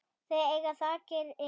Þau eiga þakkir fyrir.